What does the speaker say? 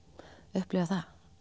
upplifa það